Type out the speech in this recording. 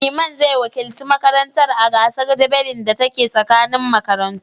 Iman zai wakilci makarantar a gasar javelin da ta ke tsakanin makarantu.